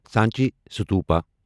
Sanchi Stupa